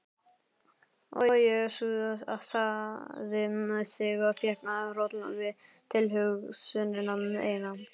Og jesúsaði sig, fékk hroll við tilhugsunina eina.